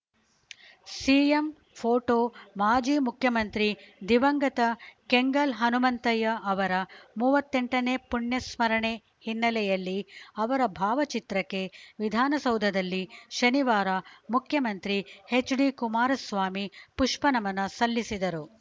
CM photo ಮಾಜಿ ಮುಖ್ಯಮಂತ್ರಿ ದಿವಂಗತ ಕೆಂಗಲ್‌ ಹನುಮಂತಯ್ಯ ಅವರ ಮೂವತ್ತೆಂಟನೇ ಪುಣ್ಯ ಸ್ಮರಣೆ ಹಿನ್ನೆಲೆಯಲ್ಲಿ ಅವರ ಭಾವಚಿತ್ರಕ್ಕೆ ವಿಧಾನಸೌಧದಲ್ಲಿ ಶನಿವಾರ ಮುಖ್ಯಮಂತ್ರಿ ಎಚ್‌ಡಿಕುಮಾರಸ್ವಾಮಿ ಪುಷ್ಪನಮನ ಸಲ್ಲಿಸಿದರು